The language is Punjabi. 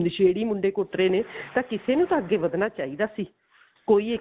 ਨਸ਼ੇੜੀ ਮੁੰਡੇ ਕੁੱਟ ਰਹੇ ਨੇ ਤਾਂ ਕਿਸੇ ਨੂੰ ਤਾਂ ਅੱਗੇ ਵਧਣਾ ਚਾਹੀਦਾ ਸੀ ਕੋਈ